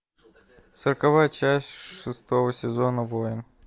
сороковая часть шестого сезона воин